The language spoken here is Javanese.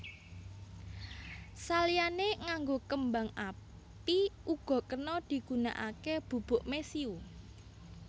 Saliyané nganggo kembang api uga kena digunakaké bubuk mesiu